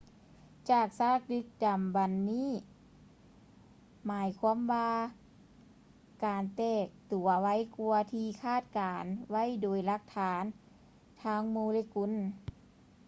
ຈາກຊາກດຶກດໍາບັນນີ້ໝາຍຄວາມວ່າການແຕກຕົວໄວກ່ວາທີ່ຄາດການໄວ້ໂດຍຫຼັກຖານທາງໂມເລກຸນ